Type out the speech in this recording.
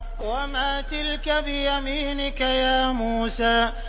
وَمَا تِلْكَ بِيَمِينِكَ يَا مُوسَىٰ